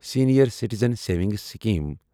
senior citizen savings scheme